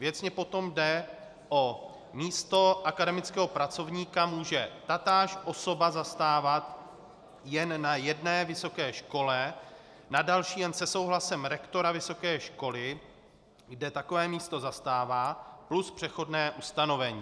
Věcně potom jde o: místo akademického pracovníka může tatáž osoba zastávat jen na jedné vysoké škole, na další jen se souhlasem rektora vysoké školy, kde takové místo zastává, plus přechodné ustanovení.